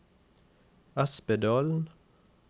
Espedalen